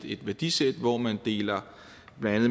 et værdisæt hvor man deler